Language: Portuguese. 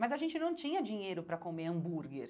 Mas a gente não tinha dinheiro para comer hambúrguer.